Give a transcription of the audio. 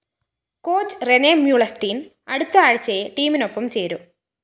coach Rene Meulensteen‍ അടുത്ത ആഴ്ചയേ ടീമിനൊപ്പം ചേരൂ